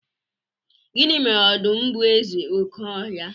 gini mere odum bu eze oke ohia?